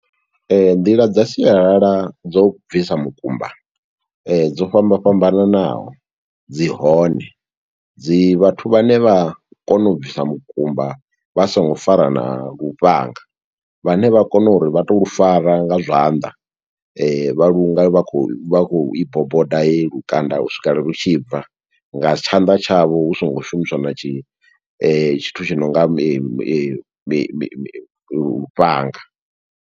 Nḓila dza sialala dzo bvisa mukumba, dzo fhamba fhambananaho dzi hone, dzi vhathu vhane vha kona u bvisa mukumba vha songo fara na lufhanga, vhane vha kona uri vha to lu fara nga zwanḓa. Vha lu nga vha khou vha khou i boboda heyi lukanda u swikela lu tshi bva, nga tshanḓa tshavho hu songo shumiswa na tshi tshithu tshi nonga mi mi mi lufhanga.